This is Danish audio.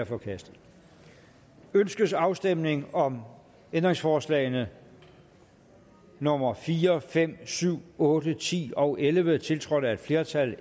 forkastet ønskes afstemning om ændringsforslagene nummer fire fem syv otte ti og elleve tiltrådt af et flertal